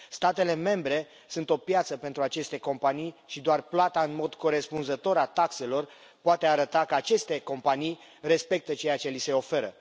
Statele membre sunt o piață pentru aceste companii și doar plata în mod corespunzător a taxelor poate arăta că aceste companii respectă ceea ce li se oferă.